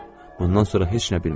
Bundan sonra heç nə bilmirəm.